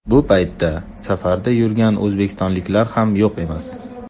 Bu paytda safarda yurgan o‘zbekistonliklar ham yo‘q emas.